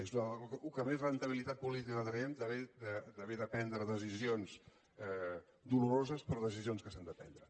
és del que més rendibilitat política traiem d’haver de prendre decisions doloroses però decisions que s’han de prendre